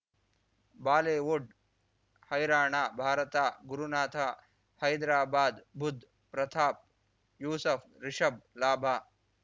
Bollywood ಹೈರಾಣ ಭಾರತ ಗುರುನಾಥ ಹೈದ್ರಾಬಾದ್ ಬುಧ್ ಪ್ರತಾಪ್ ಯೂಸಫ್ ರಿಷಬ್ ಲಾಭ